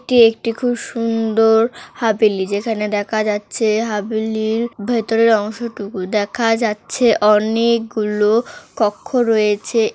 এটি একটি খুব সুন্দর হাবিলি যেখানে দেখা যাচ্ছে হাবলীর ভেতরের অংশটুকু দেখা যাচ্ছে অনেএকগুলো কক্ষ রয়েছে ।